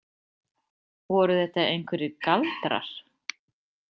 Voru þetta einhverjir galdrar?